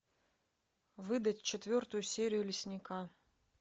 выдать четвертую серию лесника